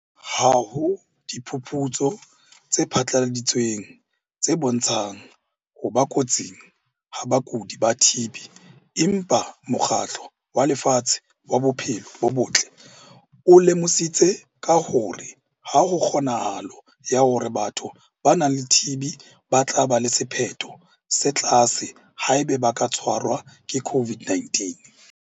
Ha ho diphuputso tse phatlaladitsweng tse bontshang ho ba kotsing ha bakudi ba TB empa Mokgatlo wa Lefatshe wa Bophelo bo Botle o lemositse ka hore ha ho kgonahalo ya hore batho ba nang le TB ba tla ba le sephetho se tlase haeba ba ka tshwarwa ke COVID-19.